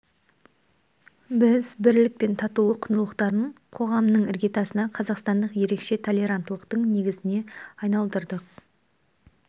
біз бірлік пен татулық құндылықтарын қоғамның іргетасына қазақстандық ерекше толеранттылықтың негізіне айналдырдық